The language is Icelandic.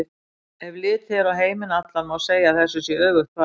Ef litið er á heiminn allan má segja að þessu sé öfugt farið.